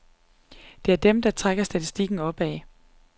Det er dem, der trækker statistikken opad.